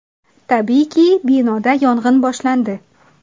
Tabiiyki, binoda yong‘in boshlandi.